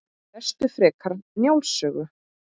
Lestu frekar Njáls sögu